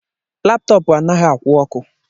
Laptọọpụ anaghị akwụ oku